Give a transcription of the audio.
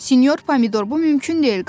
Sinyor Pomidor, bu mümkün deyil.